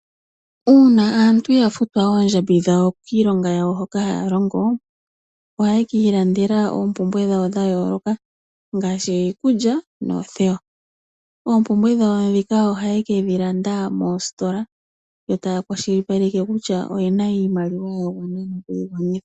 Uuna aantu ya futwa oondjambi dhawo kiilonga hoka haya longo ohaye ki ilandela oompumbwe dhawo dha yooloka ngaashi iikulya noothewa. Oompumbwe dhawo ndhika ohaye ke dhi landa moositola yo taya kwashilipaleke kutya oye na iimaliwa ya gwana noku yi gwanitha.